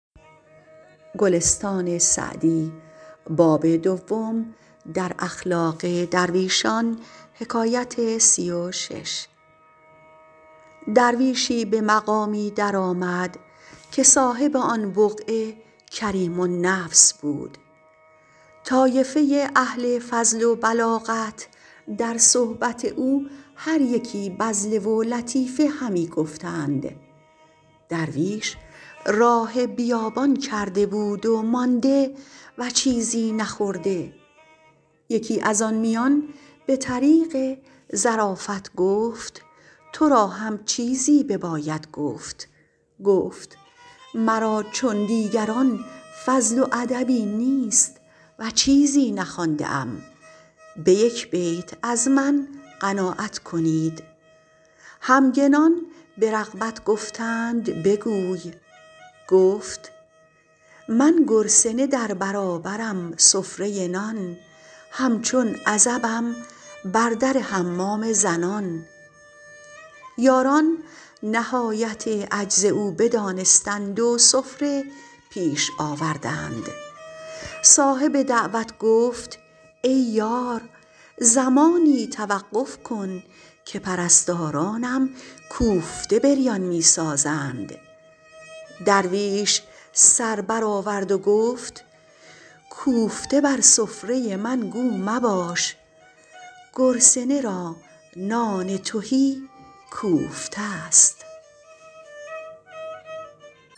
درویشی به مقامی در آمد که صاحب آن بقعه کریم النفس بود طایفه اهل فضل و بلاغت در صحبت او هر یکی بذله و لطیفه همی گفتند درویش راه بیابان کرده بود و مانده و چیزی نخورده یکی از آن میان به طریق ظرافت گفت تو را هم چیزی بباید گفت گفت مرا چون دیگران فضل و ادبی نیست و چیزی نخوانده ام به یک بیت از من قناعت کنید همگنان به رغبت گفتند بگوی گفت من گرسنه در برابرم سفره نان همچون عزبم بر در حمام زنان یاران نهایت عجز او بدانستند و سفره پیش آوردند صاحب دعوت گفت ای یار زمانی توقف کن که پرستارانم کوفته بریان می سازند درویش سر بر آورد و گفت کوفته بر سفره من گو مباش گرسنه را نان تهی کوفته است